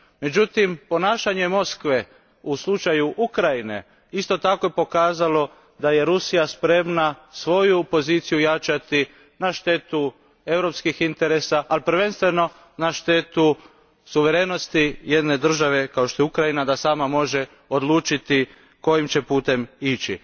Međutim, ponašanje Moskve u slučaju Ukrajine isto tako je pokazalo da je Rusija spremna svoju poziciju jačati na štetu europskih interesa, ali prvenstveno na štetu suverenosti jedne države kao što je Ukrajina da sama može odlučiti kojim će putem ići.